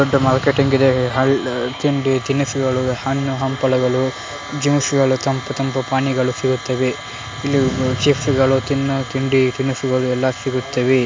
ದೊಡ್ಡ ಮಾರ್ಕೆಟಿಂಗ್ ಇದೆ ಹಲ ತಿಂಡಿ ತಿನುಸುಗಳು ಹಣ್ಣು ಹಂಪಲಗಳು ಜ್ಯೂಸು ಗಳು ತಂಪು ತಂಪು ಪಾನೀಯಗಳು ಸಿಗುತ್ತವೆ. ಇಲ್ಲಿ ಚಿಪ್ಸ್ ಗಳು ತಿನ್ನೋ ತಿಂಡಿ ತಿನುಸುಗಳು ಎಲ್ಲ ಸಿಗುತ್ತವೆ .